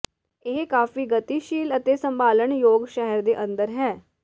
ਇਹ ਕਾਫ਼ੀ ਗਤੀਸ਼ੀਲ ਅਤੇ ਸੰਭਾਲਣਯੋਗ ਸ਼ਹਿਰ ਦੇ ਅੰਦਰ ਹੈ